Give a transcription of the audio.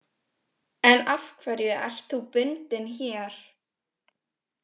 En af hverju ert þú bundinn hér?